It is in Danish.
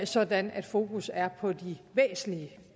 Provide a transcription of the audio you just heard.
sådan at fokus er på de væsentlige